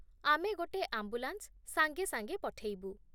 ଆମେ ଗୋଟେ ଆମ୍ବୁଲାନ୍ସ ସାଙ୍ଗେସାଙ୍ଗେ ପଠେଇବୁ।